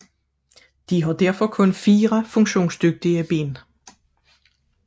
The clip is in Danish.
De har derfor kun fire funktionsdygtige ben